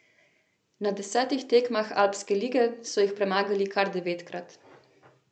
Na desetih tekmah Alpske lige so jih premagali kar devetkrat.